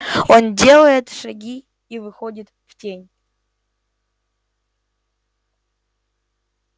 он делает шаги и выходит в тень